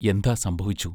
എന്താ സംഭവിച്ചു.